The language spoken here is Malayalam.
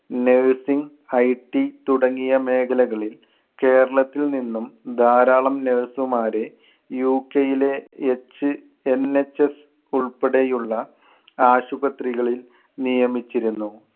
nurseing, IT തുടങ്ങിയ മേഖലകളിൽ കേരളത്തിൽ നിന്നും ധാരാളം nurse മാരെ UK യിലെ HNHS ഉൾപ്പെടെയുള്ള ആശുപത്രികളിൽ നിയമിച്ചിരുന്നു.